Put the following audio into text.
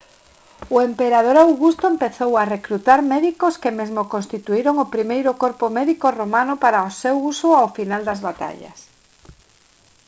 o emperador augusto empezou a recrutar médicos que mesmo constituíron o primeiro corpo médico romano para o seu uso ao final das batallas